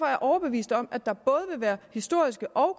jeg overbevist om at der både vil være historiske og